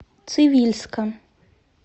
цивильска